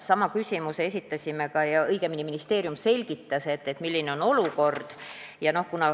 Sama küsimuse esitasime ka ministeeriumile, õigemini ministeerium selgitas, milline on olukord.